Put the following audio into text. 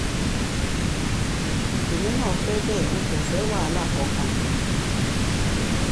èmi náà fẹ́ bẹ́ẹ̀ n kò fẹ́ wàhálà kankan